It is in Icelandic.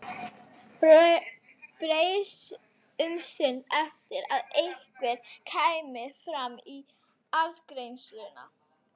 Beið um stund eftir að einhver kæmi fram í afgreiðsluna.